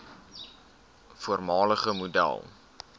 voormalige model